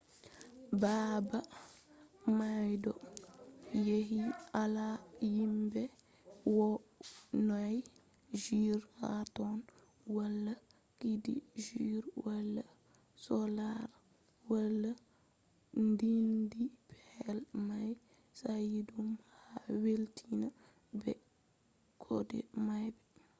baabe may ɗon yaaji wala yimɓe wonay jur ha ton wala cuudi jur wala sollare wala ndudi pellel may sayiɗum a welwitan be kode may